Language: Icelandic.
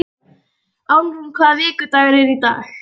Álfrún, hvaða vikudagur er í dag?